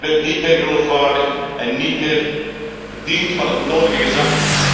En u bent niet meer geloofwaardig en niet meer voorzien van het nodige gezag.